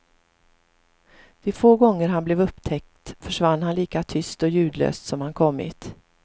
De få gånger han blev upptäckt försvann han lika tyst och ljudlöst som han kommit.